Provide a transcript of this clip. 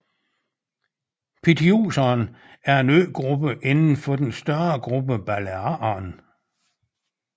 Pityuserne er en øgruppe inden for den større gruppe Balearerne